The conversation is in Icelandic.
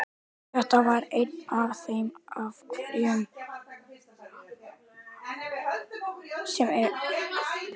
Þetta var einn af þeim afkimum sem ég átti mér í tilverunni.